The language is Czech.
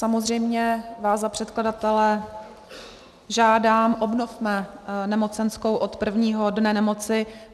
Samozřejmě vás za předkladatele žádám, obnovme nemocenskou od prvního dne nemoci.